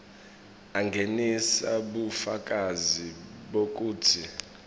angenise bufakazi bekutsi